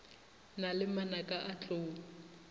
na le manaka a tlou